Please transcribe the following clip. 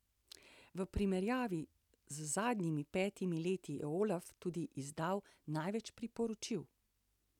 V primerjavi z zadnjimi petimi leti je Olaf tudi izdal največ priporočil.